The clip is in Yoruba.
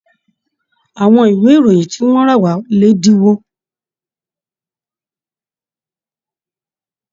Àwọn ìwé ìròyìn ti wọn rà wa l'ẹdinwo.